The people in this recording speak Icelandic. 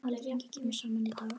Alþingi kemur saman í dag.